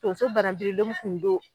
Tonso bananbirilen m kun don